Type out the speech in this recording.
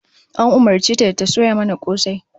An umurce ta da ta soya mana kosai